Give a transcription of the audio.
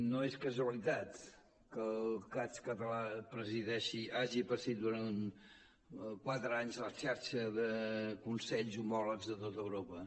no és casualitat que el cads català hagi presidit durant quatre anys la xarxa de consells homòlegs de tot europa